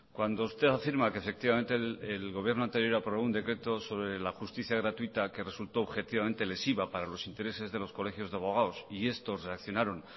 cuando usted afirma que efectivamente el gobierno anterior aprobó un decreto sobre la justicia gratuita que resultó objetivamente lesiva para los intereses de los colegios de abogados y estos reaccionaron